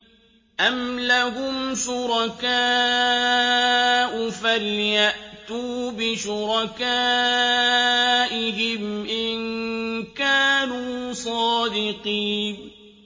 أَمْ لَهُمْ شُرَكَاءُ فَلْيَأْتُوا بِشُرَكَائِهِمْ إِن كَانُوا صَادِقِينَ